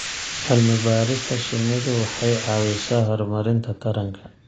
Cilmi-baarista shinnidu waxay caawisaa horumarinta taranka.